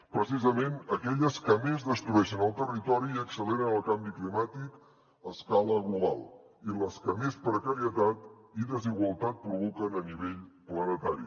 precisament aquelles que més destrueixen el territori i acceleren el canvi climàtic a escala global i les que més precarietat i desigualtat provoquen a nivell planetari